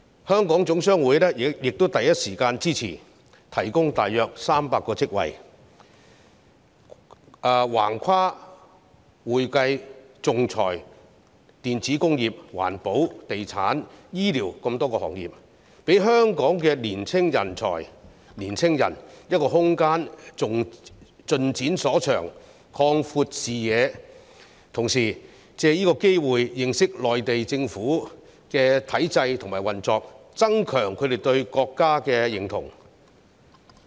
香港總商會亦第一時間支持，提供大約300個職位，橫跨會計、仲裁、電子工業、環保、地產、醫療等多個行業，讓香港的青年人有空間盡展所長、擴闊視野，同時藉此機會認識內地政府的體制和運作，增強他們對國家的認同。